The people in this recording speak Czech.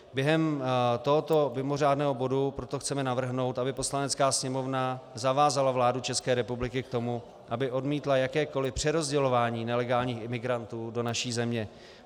Během tohoto mimořádného bodu proto chceme navrhnout, aby Poslanecká sněmovna zavázala vládu České republiky k tomu, aby odmítla jakékoliv přerozdělování nelegálních imigrantů do naší země.